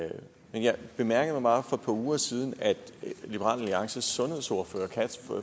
men jeg bemærkede bare for et par uger siden at liberal alliances sundhedsordfører